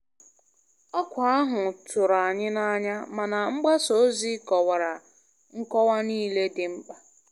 Ọkwa ahụ tụrụ anyị n'anya, mana mgbasa ozi kọwara nkọwa niile dị mkpa.